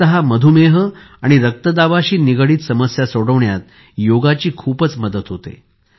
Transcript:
विशेषतः मधुमेह आणि रक्तदाबाशी निगडित समस्या सोडवण्यात योगची खूपच मदत होते